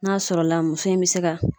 N'a sɔrɔla muso in bɛ se ka